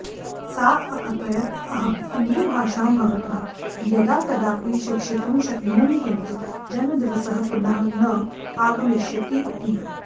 सा अकथयत् अहं हिन्दीभाषां भवतः यदा कदापि शिक्षितुं शक्नोमि किन्तु जन्मदिवसः पुनः न आगमिष्यति इति